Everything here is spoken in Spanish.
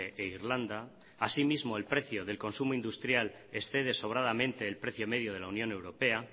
e irlanda así mismo el precio del consumo industrial excede sobradamente el precio medio de la unión europea